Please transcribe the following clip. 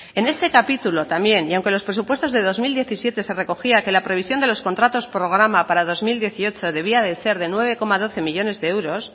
en este capítulo también y aunque los presupuestos del dos mil diecisiete se recogía que la previsión de los contratos programa para dos mil dieciocho debía de ser de nueve coma doce millónes de euros